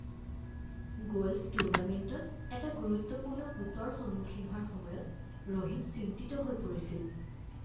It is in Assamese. গ'ল্ফ টুৰ্ণামেণ্টত এটা গুৰুত্বপূৰ্ণ পুটৰ সন্মুখীন হোৱাৰ সময়ত ৰহিম চিন্তিত হৈ পৰিছিল